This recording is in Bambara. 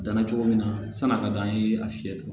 Danna cogo min na san'a ka d'an ye a fiyɛ t